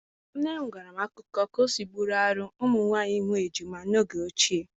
nne m gwara m akụkọ ka ọ si bụrụ ihe arụ ụmụ nwanyị ịmụ ejima n'oge ochie.